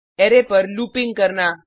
array पर looping करना